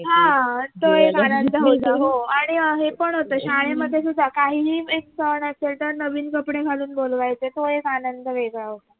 ह तो एक आनंद होता हो आणि हे पण होत शाळेमध्ये सुद्धा काहीही एक सण असेल तर नवीन कपडे घालून बोलवायचे तो एक आनंद वेगळा होता